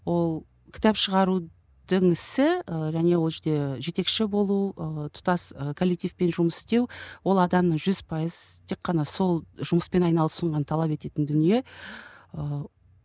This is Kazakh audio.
ол кітап шығарудың ісі ііі және ол жерде жетекші болу ыыы тұтас ы коллективпен жұмыс істеу ол адамның жүз пайыз тек қана сол жұмыспен айналасуын ғана талап ететін дүние ыыы